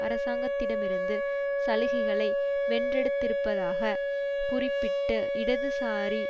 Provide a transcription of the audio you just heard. அரசாங்கத்திடமிருந்து சலுகைகளை வென்றெடுத்திருப்பதாக குறிப்பிட்டு இடதுசாரி